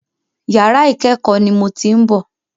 Yàrà ìkẹ́kọ̀ọ́ ni mò ń ti bọ̀.